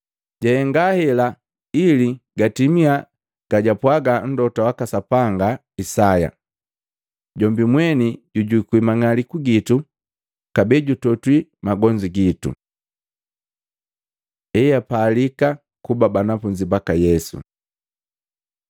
Jahenga hela ili gatimia gajaapwaga mlota jwaka Sapanga Isaya, “Jombi mweni jujukwi mang'aliku gitu kabee jutotwi magonzu gitu.” Eapalika kuba banafunzi baka Yesu Luka 9:57-62